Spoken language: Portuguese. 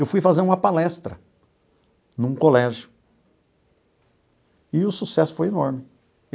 Eu fui fazer uma palestra num colégio e o sucesso foi enorme.